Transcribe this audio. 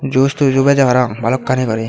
joos toojo bejey parapang balokkani guri.